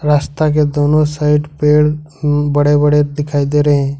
रास्ता के दोनों साइड पेड़ बड़े बड़े दिखाई दे रहे हैं।